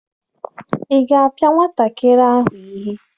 Ị ga-apịa nwatakịrị ahụ ihe?